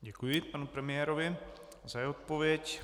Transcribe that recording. Děkuji panu premiérovi za jeho odpověď.